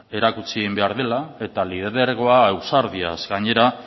erakutsi behar dela eta lidergoa ausardiaz gainera